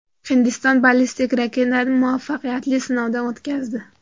Hindiston ballistik raketani muvaffaqiyatli sinovdan o‘tkazdi.